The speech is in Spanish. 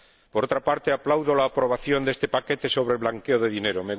Por otra parte, aplaudo la aprobación de este paquete sobre el blanqueo de dinero.